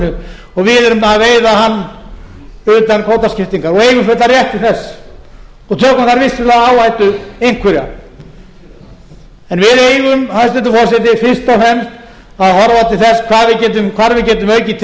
við erum að veiða hann utan kvótaskiptingar og eigum fullan rétt til þess og tökum þar áhættu einhverja en við eigum hæstvirtur forseti fyrst og fremst að horfa til þess hvar